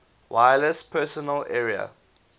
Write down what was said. wireless personal area